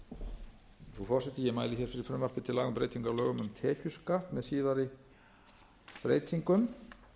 hér fyrir frumvarpi til laga um breytingu á lögum um tekjuskatt með síðari breytingum